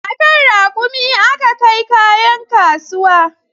A kan raƙumi aka kai kayan kasuwa